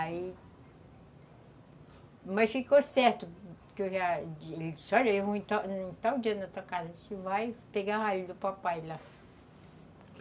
Aí... Mas ficou certo que eu já disse, olha, eu vou em tal dia na tua casa, a gente vai pegar do papai lá.